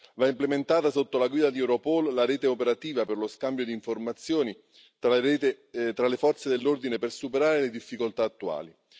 Va implementata sotto la guida di Europol la rete operativa per lo scambio di informazioni tra le forze dell'ordine per superare le difficoltà attuali.